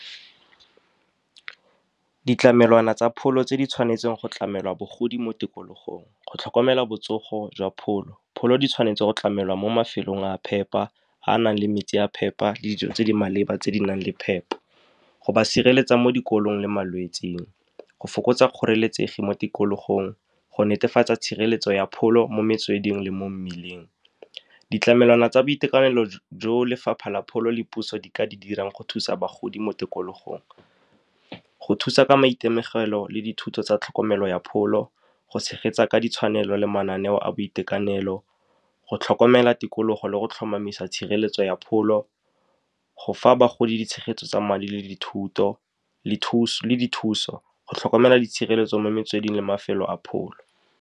Ditlamelwana tsa pholo tse di tshwanetseng go tlamela bagodi mo tikologong, go tlhokomela botsogo jwa pholo. Pholo di tshwanetse go tlamelwa mo mafelong a phepa, a nang le metsi a phepa le dijo tse di maleba, tse di nang le phepo, go ba sireletsa mo dikolong le malwetseng, go fokotsa kgoreletsegi mo tikologong, go netefatsa tshireletso ya pholo mo metsweding le mo mmileng. Ditlamelwana tsa boitekanelo jo lefapha la pholo le puso di ka di dirang go thusa bagodi mo tikologong, go thusa ka maitemogelo le dithuto tsa tlhokomelo ya pholo, go tshegetsa ka ditshwanelo le mananeo a boitekanelo, go tlhokomela tikologo le go tlhomamisa tshireletso ya pholo, go fa bagodi tshegetso tsa madi le dithuso, go tlhokomela ditshireletso mo metsweding le mafelo a pholo.